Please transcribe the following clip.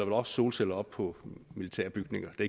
også solceller op på militærbygninger det